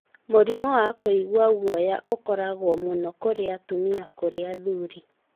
Mũrimũ wa kũigua guoya ũkoragwo mũno kũrĩ atumia kũrĩ athuri.